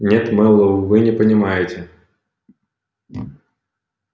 нет мэллоу вы не понимаете